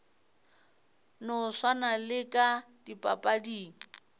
no swana le ka dipapading